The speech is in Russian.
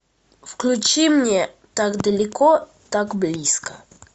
включи мне так далеко так близко